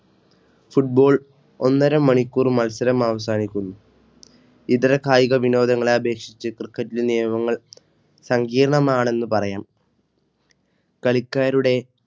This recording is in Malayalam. Football ഒന്നരമണിക്കൂർ മത്സരം അവസാനിക്കുന്നു ഇതര കായിക വിനോദങ്ങളെ അപേക്ഷിച്ച് Cricket നിയമങ്ങൾ സങ്കീർണ്ണമാണെന്നു പറയാം കളിക്കാരുടെ